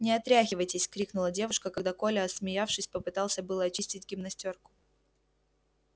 не отряхивайтесь крикнула девушка когда коля отсмеявшись попытался было очистить гимнастёрку